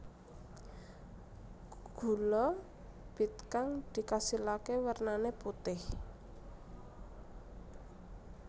Gula bit kang dikasilaké wernané putih